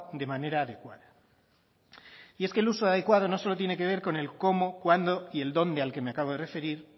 de manera adecuada y es que el uso adecuado no solo tiene que ver con el cómo cuándo y el dónde al que me acabo de referir